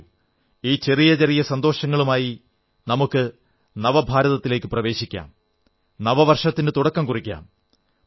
വരൂ ഈ ചെറിയ ചെറിയ സന്തോഷങ്ങളുമായി നമുക്ക് നവഭാരതത്തിലേക്കു പ്രവേശിക്കാം നവവർഷത്തിനു തുടക്കം കുറിക്കാം